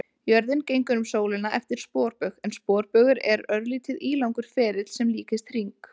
Jörðin gengur um sólina eftir sporbaug en sporbaugur er örlítið ílangur ferill sem líkist hring.